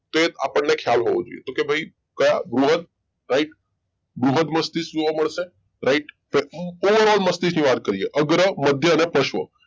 એ આપણને ખ્યાલ હોવો જોઈએ તો કે ભઈ કયા બૃહદ right બૃહદ મસ્તિષ્ક જોવા મળશે right પૂર્ણ મસ્તીકની વાત કરીએ અગ્ર મધ્ય અને પશ્વ